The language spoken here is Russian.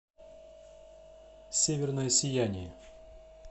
северное сияние